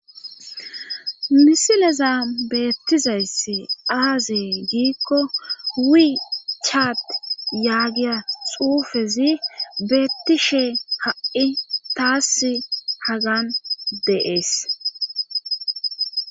Misileza beettizayssi aazee giikko huwi chaat yaagiya xuufezi beettishe ha7i taass hagan deees